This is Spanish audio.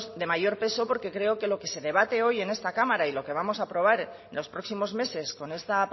de mayor peso porque creo que lo que se debate hoy en esta cámara y lo que vamos a aprobar en los próximos meses con esta